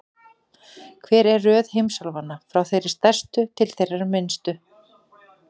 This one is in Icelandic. Hver er röð heimsálfanna, frá þeirri stærstu til þeirrar minnstu?